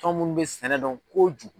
Anw munnu bɛ sɛnɛ dɔn kojugu.